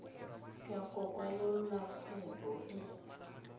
ya go kwalolola kgwebo e